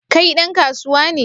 Kai dan kasuwa ne?